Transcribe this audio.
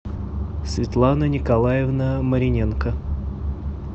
светлана николаевна мариненко